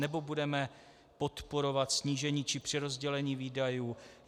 Nebo budeme podporovat snížení či přerozdělení výdajů?